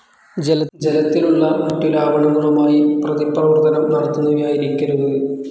ജലത്തിലുള്ള മറ്റു ലാവണങ്ങളുമായി പ്രതിപ്രവർത്തനം നടത്തുന്നവയായിരിക്കരുത്.